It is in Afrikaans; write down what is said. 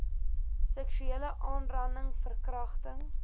seksuele aanranding verkragting